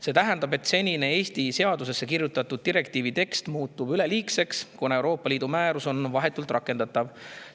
See tähendab, et senine Eesti seadusesse kirjutatud direktiivi tekst muutub üleliigseks, kuna Euroopa Liidu määrus on vahetult rakendatav.